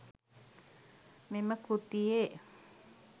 මෙම කෘතියේ